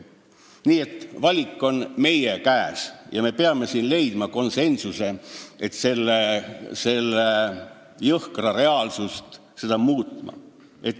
Nii et valik on meie käes ja me peame leidma konsensuse, et seda jõhkrat reaalsust muuta.